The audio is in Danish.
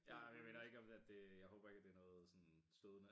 Ja jeg mener ikke om at det jeg håber ikke jeg håber ikke at det er noget sådan stødende